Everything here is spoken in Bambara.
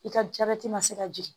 I ka jabɛti ma se ka jigin